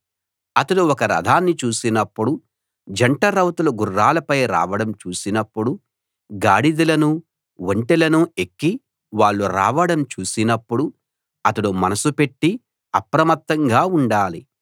అతడు ఒక రథాన్ని చూసినప్పుడు జంట రౌతులు గుర్రాలపై రావడం చూసినప్పుడు గాడిదలనూ ఒంటెలనూ ఎక్కి వాళ్ళు రావడం చూసినప్పుడు అతడు మనస్సు పెట్టి అప్రమత్తంగా ఉండాలి